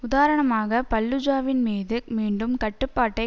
உதாரணமாக பல்லுஜாவின்மீது மீண்டும் கட்டுப்பாட்டை